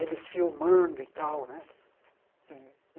eles filmando e tal né.